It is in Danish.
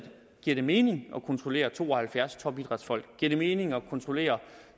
det mening at kontrollere to og halvfjerds topidrætsfolk giver det mening at kontrollere